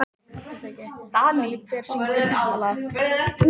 Dalí, hver syngur þetta lag?